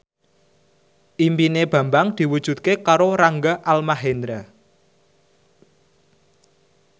impine Bambang diwujudke karo Rangga Almahendra